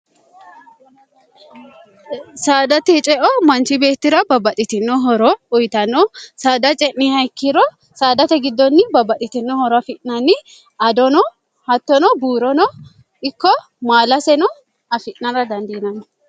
saadate ceo manchi beettira babbaxxitinohoro uyitanno saada ce'niha ikkiro saadate giddonni babbaxitinohoro afi'nanni adono hattono buurono ikko maalaseno afi'nana dandiinanni